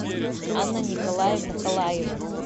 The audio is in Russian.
анна николаевна колаева